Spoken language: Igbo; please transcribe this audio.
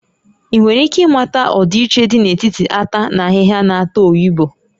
Ị nwere ike ịmata ọdịiche dị n'etiti ata na ahịhịa na-ata oyibo?